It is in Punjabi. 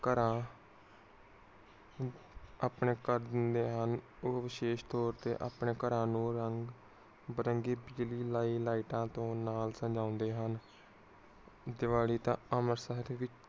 ਘਰਾਂ ਓਹੋ ਵਿਸ਼ੇਸ਼ ਤੋਰ ਤੇ ਆਪਣੇ ਘਰਾਂ ਨੂੰ ਰੰਗ ਵਿਰੰਗੀ। ਵਿਜਲੀ ਵਾਲੀ ਲਾਈਟਾਂ ਤੋਂ ਨਾਲ ਸਾਜੋਂਦੇ ਹਨ। ਦੀਵਾਲੀ ਤਾਂ ਅਮਰਸਰੀ ਭੀ